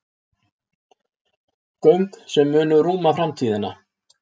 Göng sem munu rúma framtíðina